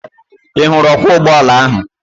Ị hụrụ ọkwọ ụgbọala ahụ?